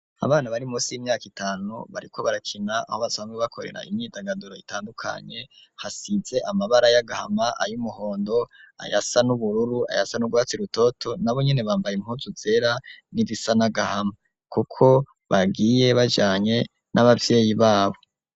Abana bari munsi y'imyaka itanu bariko barakina aho basanzwe bakorera imyidagaduro itandukanye hasize amabara y'agahama ay'umuhondo ayasa n'ubururu ayasa nugwatsi rutoto, nabonye bambaye impunzu zera, n'irisa nagahama kuko bagiye bajnye n'abavyeyi babo.